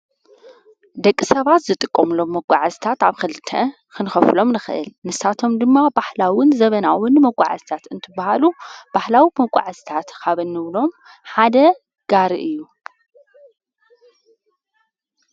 ደቂ ሰባት ዝጥቆምሎም መጕዓስታት ኣብ ክልተ ኽንኸፍሎም ንኽእል ንሳቶም ድማ ባሕላውን ዘበናውን መጕዓዝታት እንትበሃሉ ባሕላዊ መቋዕስታት ኻበኑብሎም ሓደ ጋሪ እዩ።